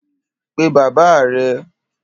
Pe baba rẹ!